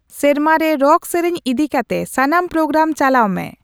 ᱥᱮᱨᱢᱟ ᱨᱮ ᱨᱚᱠ ᱥᱮᱨᱮᱧ ᱤᱫᱤᱠᱟᱛᱮ ᱥᱟᱱᱟᱢ ᱯᱨᱳᱜᱨᱟᱢ ᱪᱟᱞᱟᱣ ᱢᱮ